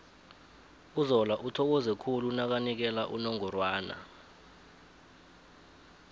uzola uthokoze khulu nakanikela unongorwana